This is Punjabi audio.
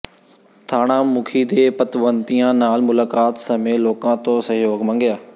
ਥਾਣਾ ਮੁਖੀ ਨੇ ਪਤਵੰਤਿਆਂ ਨਾਲ ਮੁਲਾਕਾਤ ਸਮੇਂ ਲੋਕਾਂ ਤੋਂ ਸਹਿਯੋਗ ਮੰਗਿਆ